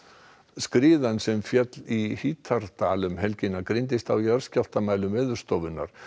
skriðan sem féll í Hítardal um helgina greindist á jarðskjálftamælum Veðurstofunnar